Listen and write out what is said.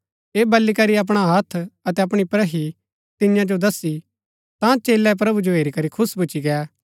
ऐह बली करी अपणा हत्थ अतै अपणी प्रहि तियां जो दस्सी ता चेलै प्रभु जो हेरी करी खुश भूच्ची गै